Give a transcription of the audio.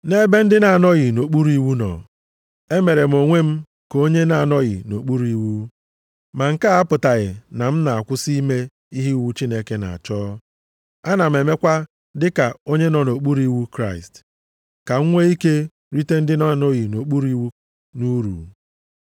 Nʼebe ndị na-anọghị nʼokpuru iwu nọ, emere m onwe m ka onye na-anọghị nʼokpuru iwu (ma nke a apụtaghị na m na-akwụsị ime ihe iwu Chineke na-achọ. Ana m emekwa dịka onye nọ nʼokpuru iwu Kraịst), ka m nwee ike rite ndị na-anọghị nʼokpuru iwu nʼuru.